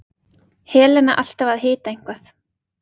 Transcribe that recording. Helena alltaf að hita eitthvað.